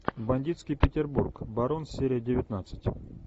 бандитский петербург барон серия девятнадцать